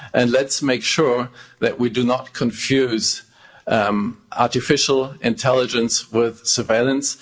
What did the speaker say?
Let's make sure that we do not confuse artificial intelligence with surveillance.